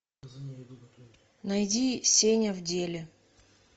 найди сеня в деле